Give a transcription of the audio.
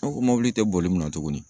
E ko mɔbili tɛ boli munna tugunni ?